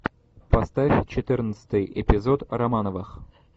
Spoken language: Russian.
поставь четырнадцатый эпизод романовых